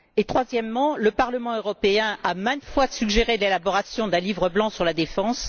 Troisièmement, le Parlement européen a maintes fois suggéré l'élaboration d'un livre blanc sur la défense.